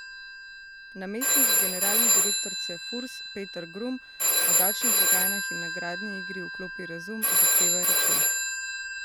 Namestnik generalne direktorice Furs Peter Grum o davčnih blagajnah in nagradni igri Vklopi razum, zahtevaj račun!